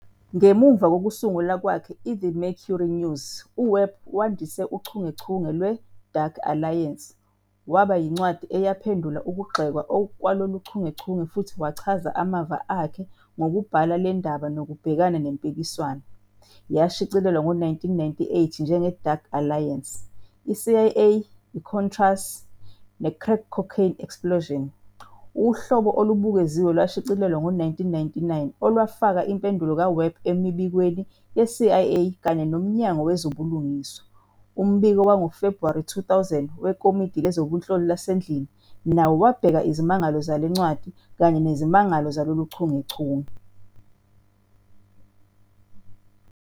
Ngemuva kokusula kwakhe "kwiThe Mercury News", uWebb wandise uchungechunge lwe- "Dark Alliance" waba yincwadi eyaphendula ukugxekwa kwalolu chungechunge futhi wachaza amava akhe ngokubhala le ndaba nokubhekana nempikiswano. Yashicilelwa ngo-1998 njenge- "Dark Alliance- I-CIA, iContras, neCrack Cocaine Explosion."Uhlobo olubukeziwe lwashicilelwa ngo-1999 olwafaka impendulo kaWebb emibikweni ye-CIA kanye noMnyango Wezobulungiswa. Umbiko wangoFebhuwari 2000 weKomidi Lezobunhloli laseNdlini nawo wabheka izimangalo zale ncwadi kanye nezimangalo zalolu chungechunge.